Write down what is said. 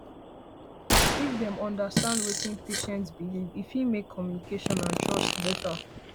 if dem understand wetin patient patient believe e fit make communication and trust better